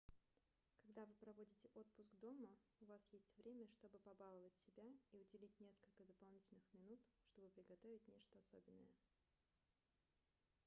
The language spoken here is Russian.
когда вы проводите отпуск дома у вас есть время чтобы побаловать себя и уделить несколько дополнительных минут чтобы приготовить нечто особенное